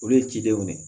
Olu ye cidenw de ye